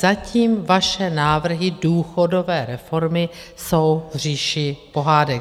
Zatím vaše návrhy důchodové reformy jsou v říši pohádek.